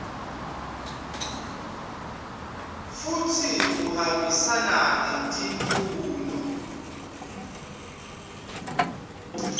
futsi uhambisana netimfuno